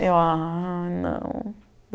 Eu, ah, não.